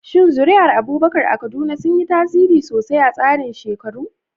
Shin zuri'ar Abubakar a Kaduna sun yi tasiri sosai a tsarin shekaru?